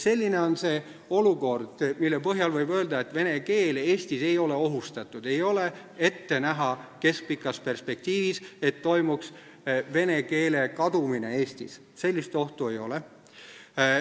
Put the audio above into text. Selline on olukord, mille põhjal võib öelda, et vene keel Eestis ei ole ohustatud – keskpikas perspektiivis ei ole ette näha, et toimuks vene keele kadumine Eestis, sellist ohtu ei ole.